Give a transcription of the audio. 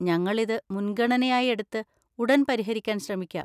ഞങ്ങൾ ഇത് മുൻഗണനയായി എടുത്ത് ഉടൻ പരിഹരിക്കാൻ ശ്രമിക്കാം.